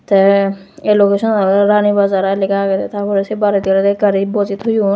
tay ei location an ole Rani Bazar ai lega agede tar pore sei baredi ole gari boje toyon.